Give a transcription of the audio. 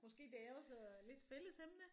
Måske det er også lidt fælles emne